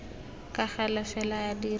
ka gale fela a dira